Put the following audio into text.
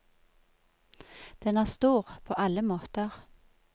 Den er stor, på alle måter.